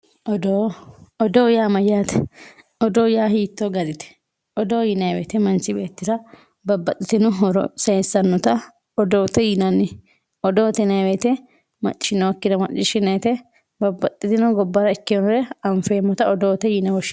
Odoo, odoo yaa mayyate, odoo yaa hiitto garite ,odoo yinanni woyte manchi beettira babbaxxitino horo saysanotta odoote yinanni ,odoote yinanni woyte maccishshinonkire maccishshinannite babbaxxitino gobbara ikkinore anfeemmotta odoote yine woshshineemmo.